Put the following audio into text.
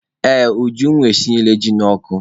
Ee, Ujunwa esinyela ji n'ọkụ.